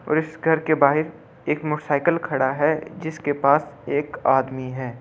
और इस घर के बाहर एक मोटरसाइकिल खड़ा है जिसके पास एक आदमी है।